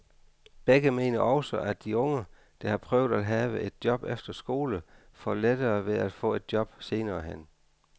Begge mener også, at de unge, der har prøvet at have et job efter skole, får lettere ved at få et job senere hen.